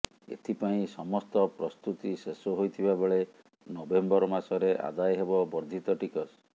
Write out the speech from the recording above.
ଏଥି ପାଇଁ ସମସ୍ତ ପ୍ରସ୍ତୁତି ଶେଷ ହୋଇଥିବା ବେଳେ ନଭେମ୍ବର ମାସରେ ଆଦାୟ ହେବ ବର୍ଦ୍ଧିତ ଟିକସ